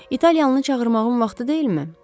İtalyanlını çağırmağın vaxtı deyilmi?